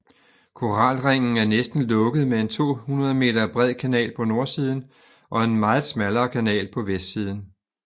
Koralringen er næsten lukket med en 200 meter bred kanal på nordsiden og en meget smallere kanal på vestsiden